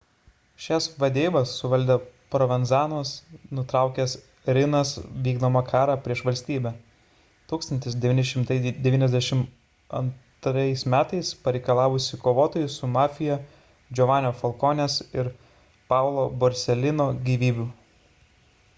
šias vadeivas suvaldė provenzano'as nutraukęs riina'os vykdomą karą prieš valstybę 1992 m pareikalavusį kovotojų su mafija giovannio falcone'ės ir paolo borsellino gyvybių